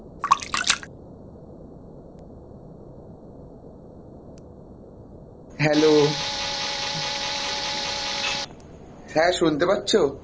hello হ্যাঁ, শুনতে পাচ্ছো?